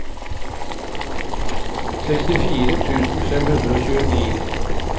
sekstifire tusen fem hundre og tjueni